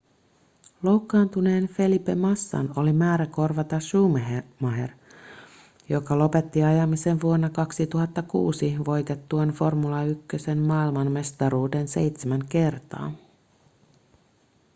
loukkaantuneen felipe massan oli määrä korvata schumacher joka lopetti ajamisen vuonna 2006 voitettuaan formula 1:n maailmanmestaruuden seitsemän kertaa